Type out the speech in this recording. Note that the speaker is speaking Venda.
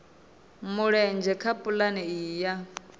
mulenzhe kha pulane iyi ya